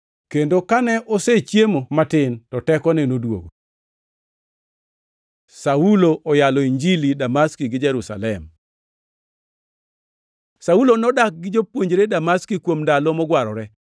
kendo kane osechiemo matin, to tekone noduogo. Saulo oyalo Injili Damaski gi Jerusalem Saulo nodak gi jopuonjre Damaski kuom ndalo mogwarore,